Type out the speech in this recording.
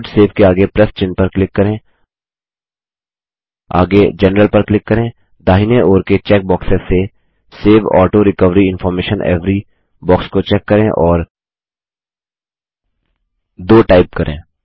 loadसेव के आगे प्लस चिन्ह पर क्लिक करें आगे जनरल पर क्लिक करें जीटीजीटी दाहिने ओर के चेक बॉक्सों से save auto recovery information every box को चेक करें और 2 टाइप करें